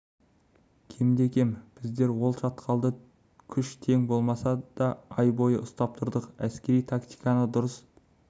кемде-кем біздер ол шатқалды күш тең болмаса да ай бойы ұстап тұрдық әскери тактиканы дұрыс